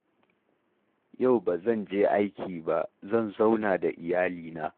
Yau ba zan je aiki ba, zan zauna da iyalina